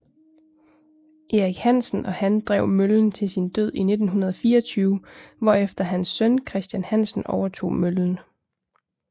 Erik Hansen og han drev møllen til sin død i 1924 hvorefter hans søn Christian Hansen overtog møllen